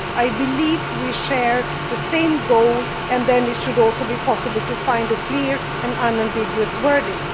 3. I believe we share the same goal, and thus it should also be possible to find a clear and unambiguous wording.